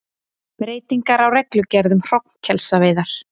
Breytingar á reglugerð um hrognkelsaveiðar